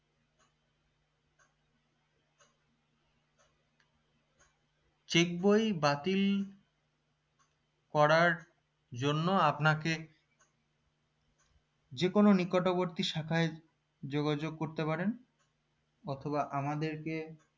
check বই বাতিল করার জন্য আপনাকে যে কোনও নিকটবর্তী শাখায় যোগাযোগ করতে পারেন অথবা আমাদেরকে